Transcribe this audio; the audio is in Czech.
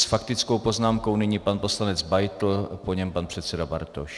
S faktickou poznámkou nyní pan poslanec Beitl, po něm pan předseda Bartoš.